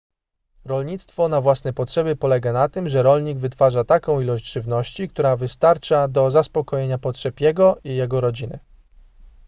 rolnictwo na własne potrzeby polega na tym że rolnik wytwarza taką ilość żywności która wystarcza do zaspokojenia potrzeb jego i jego rodziny